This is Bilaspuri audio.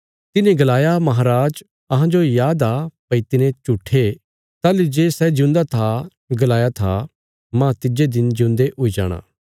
तिन्हे गलाया महांराज अहांजो याद आ भई तिने झूठे ताहली जे सै जिऊंदा था गलाया था माह तिज्जे दिन ज्यून्दे हुई जाणा